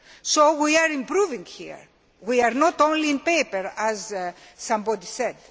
So we are improving here, and not only on paper as somebody said.